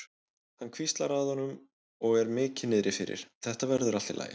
Hann hvíslar að honum og er mikið niðri fyrir: Þetta verður allt í lagi.